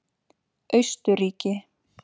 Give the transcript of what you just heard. Austurríki